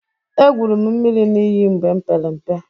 Egwuru m mmiri n'iyi mgbe m pere mpe.